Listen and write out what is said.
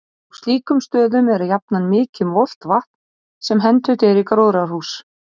Á slíkum stöðum er jafnan mikið um volgt vatn, sem hentugt er í gróðrarhús.